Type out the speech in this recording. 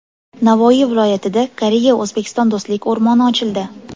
Navoiy viloyatida Koreya-O‘zbekiston Do‘stlik o‘rmoni ochildi.